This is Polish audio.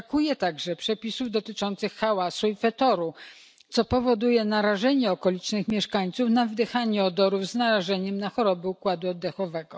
Brakuje także przepisów dotyczących hałasu i fetoru, co powoduje narażenie okolicznych mieszkańców na wdychanie odorów z narażeniem na choroby układu oddechowego.